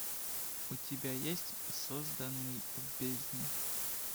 у тебя есть созданный в бездне